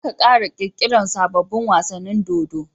Zaka kara kirki rar sabobun wasanin dodo